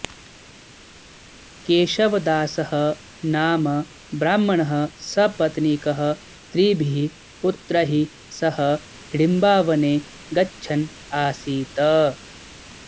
केशवदासः नाम ब्राह्मणः सपत्नीकः त्रिभिः पुत्रैः सह हिडिम्बावने गच्छन् आसीत्